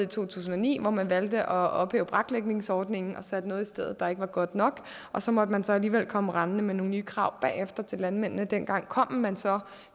to tusind og ni hvor man valgte at ophæve braklægningsordningen og satte noget i stedet der ikke var godt nok og så måtte man så alligevel komme rendende med nogle nye krav bagefter til landmændene dengang kom man så